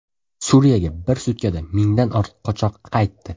Suriyaga bir sutkada mingdan ortiq qochoq qaytdi.